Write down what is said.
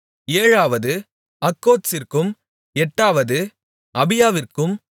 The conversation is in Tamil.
ஏழாவது அக்கோத்சிற்கும் எட்டாவது அபியாவிற்கும்